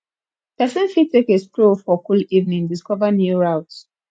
persin fit take a stroll for cool evening discover new routes